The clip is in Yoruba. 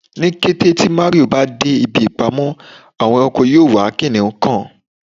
Ni kete ti Mario ba de ibi ipamọ Awon eranko yoo wa kiniun kan